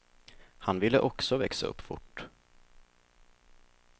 Han ville också växa upp fort.